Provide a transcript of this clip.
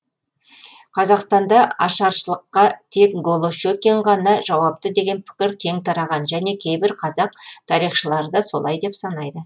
қазақстанда ашаршылыққа тек голощекин ғана жауапты деген пікір кең тараған және кейбір қазақ тарихшылары да солай деп санайды